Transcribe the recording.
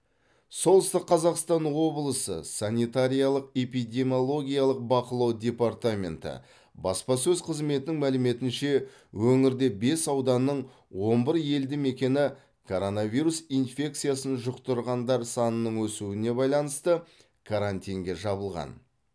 солтүстік қазақстан облысы санитариялық эпидемиологиялық бақылау департаменті баспасөз қызметінің мәліметінше өңірде бес ауданның он бір елді мекені коронавирус инфекциясын жұқтырғандар санының өсуіне байланысты карантинге жабылған